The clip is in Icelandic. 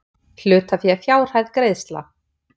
Hlutafé fjárhæð greiðsla